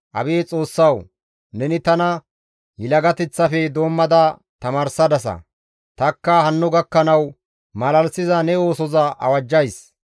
Abeet Xoossawu! Neni tana yelagateththafe doommada tamaarsadasa; tanikka hanno gakkanawu malalisiza ne oosoza awajjays.